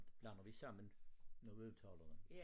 Blander vi sammen når vi udtaler dem